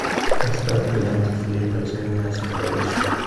поставь ка ленту феи потерянное сокровище